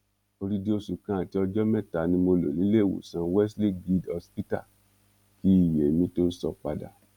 odidi oṣù kan àti ọjọ mẹta ni mo lò níléewọsán wesley guild hospital kí iye mi tóó sọ padà